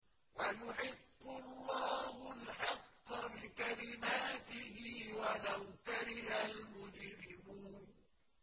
وَيُحِقُّ اللَّهُ الْحَقَّ بِكَلِمَاتِهِ وَلَوْ كَرِهَ الْمُجْرِمُونَ